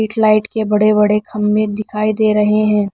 Light के बड़े बड़े खम्मे दिखाई दे रहे हैं।